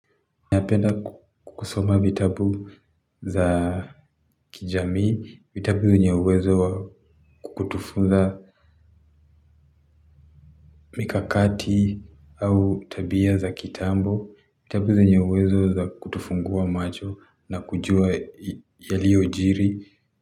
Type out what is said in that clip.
Napenda kusoma vitabu za kijamii, vitabu zenye uwezo wa kutufunza mikakati au tabia za kitambo, vitabu zenye uwezo za kutufungua macho nakujua yaliojiri.